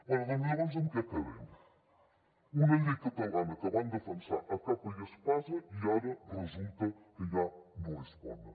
bé llavors en què quedem una llei catalana que van defensar a capa i espasa i ara resulta que ja no és bona